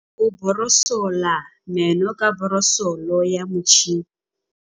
Bonolô o borosola meno ka borosolo ya motšhine.